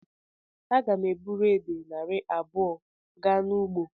Aga m eburu edè narị abụọ gaa n'ugbo.